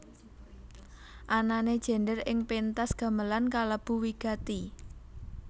Anané gendèr ing péntas gamelan kalebu wigati